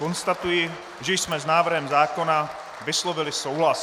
Konstatuji, že jsme s návrhem zákona vyslovili souhlas.